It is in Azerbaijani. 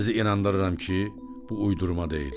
Sizi inandırıram ki, bu uydurma deyil.